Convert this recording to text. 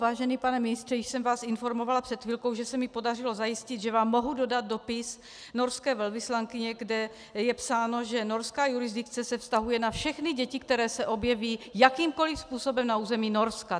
Vážený pane ministře, již jsem vás informovala před chvilkou, že se mi podařilo zajistit, že vám mohu dodat dopis norské velvyslankyně, kde je psáno, že norská jurisdikce se vztahuje na všechny děti, které se objeví jakýmkoliv způsobem na území Norska.